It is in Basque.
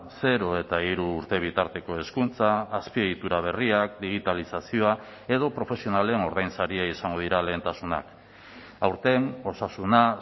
zero eta hiru urte bitarteko hezkuntza azpiegitura berriak digitalizazioa edo profesionalen ordainsaria izango dira lehentasunak aurten osasuna